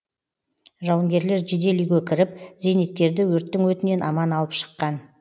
жауынгерлер жедел үйге кіріп зейнеткерді өрттің өтінен аман алып шыққан